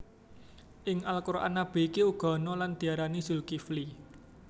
Ing Al Quran nabi iki uga ana lan diarani Zulkifli